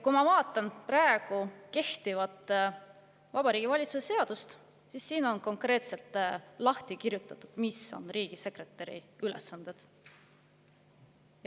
Kui ma vaatan praegust, kehtivat Vabariigi Valitsuse seadust, siis ma näen, et siin on konkreetselt lahti kirjutatud, mis on riigisekretäri ülesanded.